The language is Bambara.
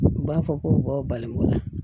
U b'a fɔ ko aw balimamula